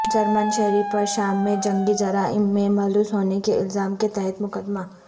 German شہری پر شام میں جنگی جرائم میں ملوث ہونے کے الزام کے تحت مقدمہ